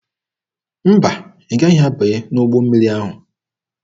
Mba, ị gaghị abanye n'ụgbọ mmiri ahụ.